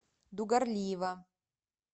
дугорлиева